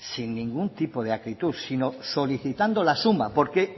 sin ningún tipo de acritud solicitando la suma porque